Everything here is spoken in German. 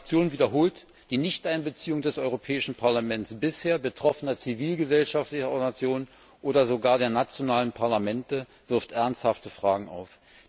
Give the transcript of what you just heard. Meine Fraktion wiederholt Die Nichteinbeziehung des Europäischen Parlaments, bisher betroffener zivilgesellschaftlicher Organisationen oder sogar der nationalen Parlamente wirft ernsthafte Fragen auf.